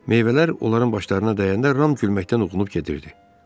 Meyvələr onların başlarına dəyəndə Ram gülməkdən huşunu itirib gedirdi.